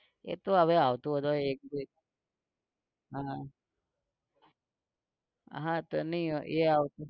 એતો હવે આવતું વર્ષ એટલે. હા હા તો નઇ હોય એ આવ